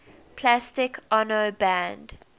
plastic ono band